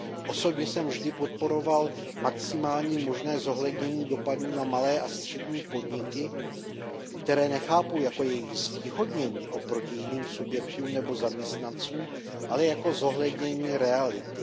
Osobně jsem vždy podporoval maximální možné zohlednění dopadů na malé a střední podniky, které nechápu jako jejich zvýhodnění oproti jiným subjektům nebo zaměstnancům, ale jako zohlednění reality.